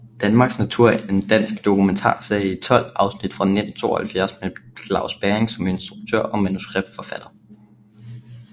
Danmarks natur er en dansk dokumentarserie i 12 afsnit fra 1972 med Claus Bering som instruktør og manuskriptforfatter